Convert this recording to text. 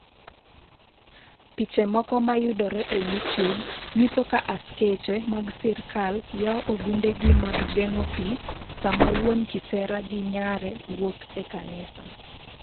Piche moko mayudore e YouTube nyiso ka askeche mag sirkal yawo ogundegi mag geng'o pi sama wuon kisera gi nyare wuok e kanisa.